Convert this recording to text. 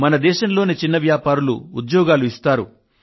మన దేశంలోని చిన్న వ్యాపారులు ఉద్యోగాలు ఇస్తారు